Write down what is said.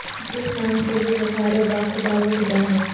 جس نام سے بھی پکارو بخدا وہ خدا ہے